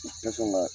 U tɛ sɔn ka